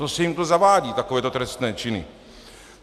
To se jim to zavádí, takovéto trestné činy!